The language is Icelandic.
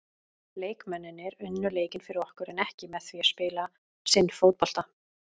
Leikmennirnir unnu leikinn fyrir okkur en ekki með því að spila sinn fótbolta.